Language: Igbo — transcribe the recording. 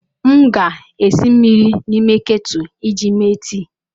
M ga-esi mmiri n'ime ketu iji mee tii.